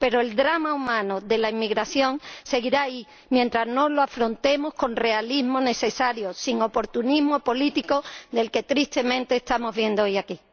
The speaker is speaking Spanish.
Pero el drama humano de la inmigración seguirá ahí mientras no lo afrontemos con el realismo necesario, sin el oportunismo político que tristemente estamos viendo hoy aquí.